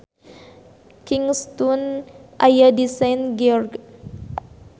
Kingstown aya di Saint George.